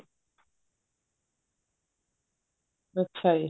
ਅੱਛਾ ਜੀ